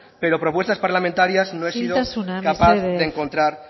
pero propuestas parlamentarias no he sido capaz de encontrar